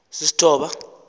sisistoba